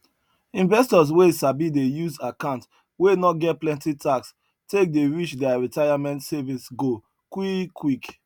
investors wey sabi dey use account wey no get plenty tax take dey reach their retirement savings goal quick quick